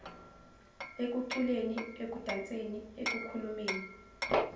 ekuculeni ekudanseni ekukhulumeni